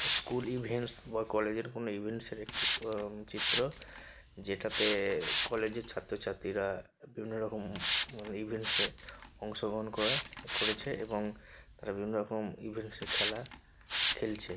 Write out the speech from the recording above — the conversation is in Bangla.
স্কুল ইভেন্টস বা কলেজ -এর কোনো ইভেন্টস -এর একটি অম চিত্র যেটাতে-তে কলেজ -এর ছাত্র ছাত্রীরা বিভিন্নরকম উম ইভেন্টস -এ অংশগ্রহণ করায় করেছে এবং বিভিন্নরকম ইভেন্টস -এ খেলা খেলছে।